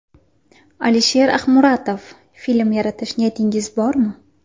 alisherahmuratov Film yaratish niyatingiz bormi?